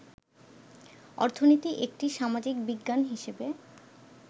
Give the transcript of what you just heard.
অর্থনীতি একটি সামাজিক বিজ্ঞান হিসেবে